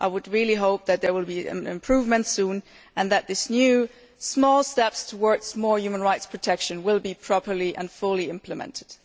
I really hope that there will be an improvement soon, and that these new small steps towards more human rights protection will be properly and fully implemented.